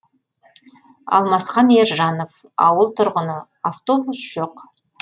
алмасхан ержанов ауыл тұрғыны автобус жоқ